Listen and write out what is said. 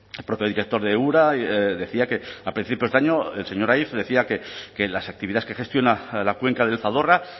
el propio director de ura decía a principios de año el señor aiz decía que las actividades que gestiona la cuenca del zadorra